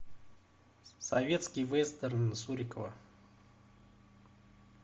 советский вестерн сурикова